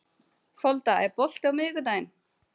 Folda, er bolti á miðvikudaginn?